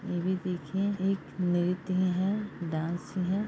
इ भी देखिए एक नृत्य है डांस है।